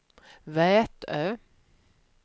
Vätö